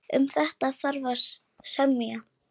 Um þetta þarf að semja.